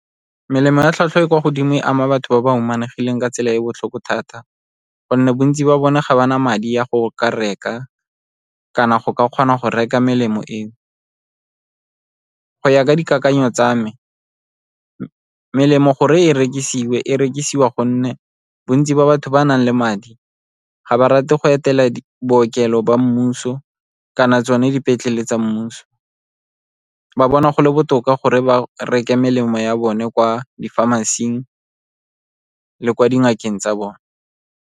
Melemo ya tlhwatlhwa e kwa godimo e ama batho ba ba humanegileng ka tsela e e botlhoko thata gonne bontsi ba bone ga ba na madi a go ka reka, kana go ka kgona go reka melemo eo. Go ya ka dikakanyo tsa me, melemo gore e rekisiwe, e rekisiwa gonne bontsi ba batho ba nang le madi ga ba rate go etela bookelo ba mmuso kana tsone dipetlele tsa mmuso, ba bona go le botoka gore ba reke melemo ya bone kwa di-pharmacy-ing le kwa dingakeng tsa bone.